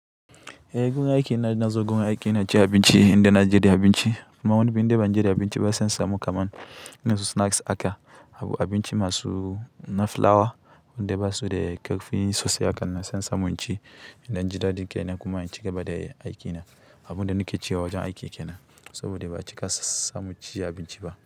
Eh, gun aiki na, na zuwa gun aiki ina ci abinci inda na je da abinci. Amma wani bin indai ban je da abinci ba, sai in samu kaman irin su snacks aka, abu abinci masu na fulawa wande ba su de ƙarfin sosai. Hakan nan sai in samu in ci indan ji daɗin kaina kuma in ci gaba da aiki na. Abun da nike ci a wajen aiki kenan saboda ba a cika samu ci abinci ba.